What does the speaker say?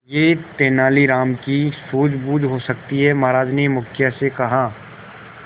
यह तेनालीराम की सूझबूझ हो सकती है महाराज ने मुखिया से कहा